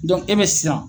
e be siran